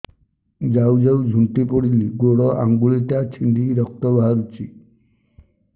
ଯାଉ ଯାଉ ଝୁଣ୍ଟି ପଡ଼ିଲି ଗୋଡ଼ ଆଂଗୁଳିଟା ଛିଣ୍ଡି ରକ୍ତ ବାହାରୁଚି